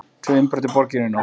Tvö innbrot í borginni í nótt